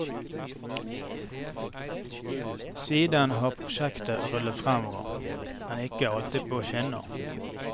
Siden har prosjektet rullet fremover, men ikke alltid på skinner.